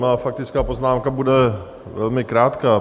Moje faktická poznámka bude velmi krátká.